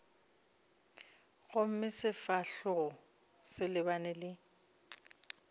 gomme sefahlogo se lebane le